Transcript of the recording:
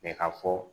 Mɛ ka fɔ